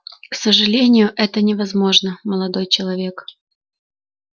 к сожалению это невозможно молодой человек